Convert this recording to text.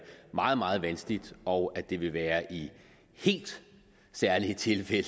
meget meget vanskeligt og at det vil være i helt særlige tilfælde